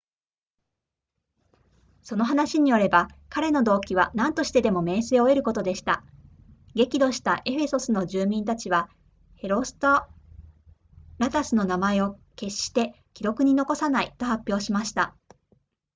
その話によれば彼の動機は何としてでも名声を得ることでした激怒したエフェソスの住民たちはヘロストラタスの名前を決して記録に残さないと発表しました